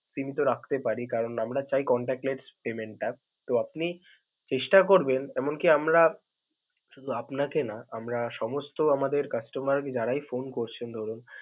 কিন্তু রাখতে পারি কারণ আমরা চাই contactless টা, তো আপনি চেষ্টা করবেন এমন কি আমরা শুধু আপনাকে না, আমরা সমস্ত আমাদের customer যারাই phone করছেন ধরুন.